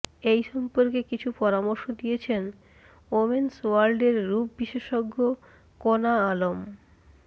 এই সম্পর্কে কিছু পরামর্শ দিয়েছেন ওমেন্স ওয়ার্ল্ডের রূপ বিশেষজ্ঞ কনা আলম